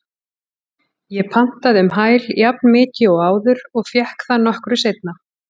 Ég pantaði um hæl jafnmikið og áður og fékk það nokkru seinna.